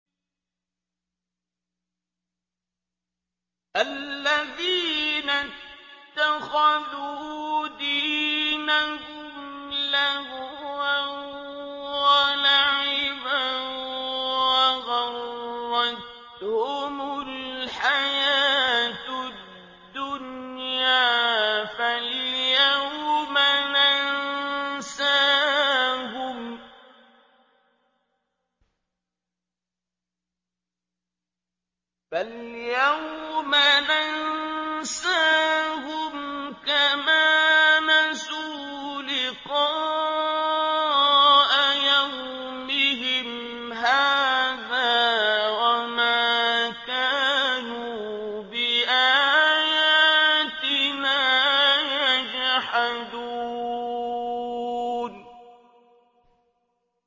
الَّذِينَ اتَّخَذُوا دِينَهُمْ لَهْوًا وَلَعِبًا وَغَرَّتْهُمُ الْحَيَاةُ الدُّنْيَا ۚ فَالْيَوْمَ نَنسَاهُمْ كَمَا نَسُوا لِقَاءَ يَوْمِهِمْ هَٰذَا وَمَا كَانُوا بِآيَاتِنَا يَجْحَدُونَ